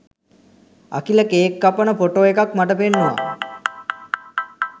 Akila cake කපන photo එකක් මට පෙන්නුවා